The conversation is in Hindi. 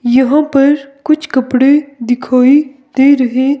यहां पर कुछ कपड़े दिखाई दे रहे--